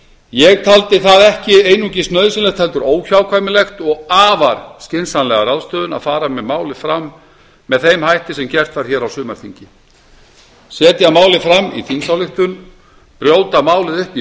ég taldi það ekki einungis nauðsynlegt heldur óhjákvæmilegt og afar skynsamlega ráðstöfun að fara með málið fram með þeim hætti sem gert var hér á sumdarþingi setja málið fram í þingsályktun brjóta málið upp í